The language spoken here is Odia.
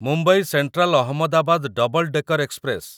Mumbai central Ahmedabad double decker express